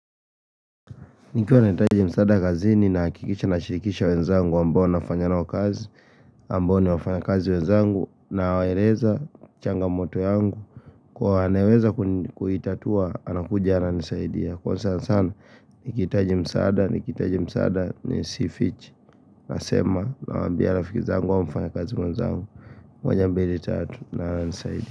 Nikiwa nahitaji msaada kazi ni nahakikisha na shirikisha wenzangu ambao nafanya nao kazi ambao ni wafanyakazi wenzangu na waeleza changamoto yangu Kwa wanaweza kuitatua anakuja ananisaidia Kwa sana sana nikihitaji msaada nikihitaji msaada ni sifichi Nasema nawaambia rafiki zangu au mfanyakazi wenzangu moja mbili tatu na ananisaidia.